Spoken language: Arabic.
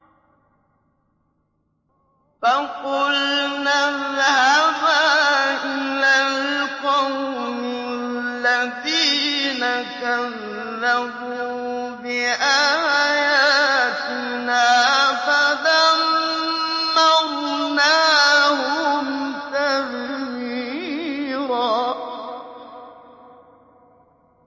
فَقُلْنَا اذْهَبَا إِلَى الْقَوْمِ الَّذِينَ كَذَّبُوا بِآيَاتِنَا فَدَمَّرْنَاهُمْ تَدْمِيرًا